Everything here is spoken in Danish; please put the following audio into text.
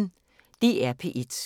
DR P1